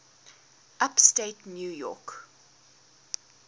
upstate new york